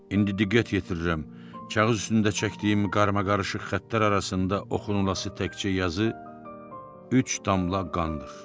İndi diqqət yetirirəm, kağız üstündə çəkdiyim qarmaqarışıq xəttlər arasında oxunulası təkcə yazı üç damla qandır.